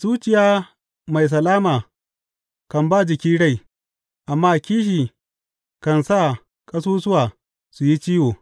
Zuciya mai salama kan ba jiki rai, amma kishi kan sa ƙasusuwa su yi ciwo.